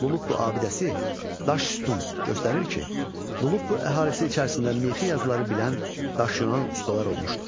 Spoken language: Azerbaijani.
Lulup bu abidəsi daş sütun göstərir ki, Lulup bu əhalisi içərisində mixi yazıları bilən daşyonan ustalar olmuşdur.